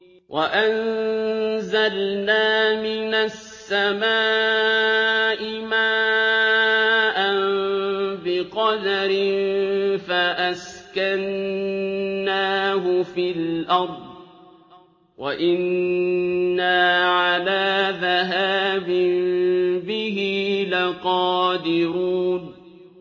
وَأَنزَلْنَا مِنَ السَّمَاءِ مَاءً بِقَدَرٍ فَأَسْكَنَّاهُ فِي الْأَرْضِ ۖ وَإِنَّا عَلَىٰ ذَهَابٍ بِهِ لَقَادِرُونَ